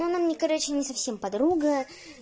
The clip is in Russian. ну она мне короче не совсем подруга